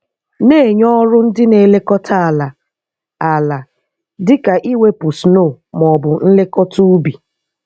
Na-enye ọrụ ndị na-elekọta ala, ala, dịka iwepụ snow ma ọ bụ nlekọta ubi.